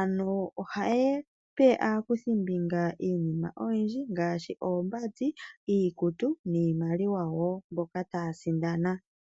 ano ohayape aakuthi mbinga iinima oyindji ngaashi oombandi, iikutu niimaliwa yaamboka taasindana.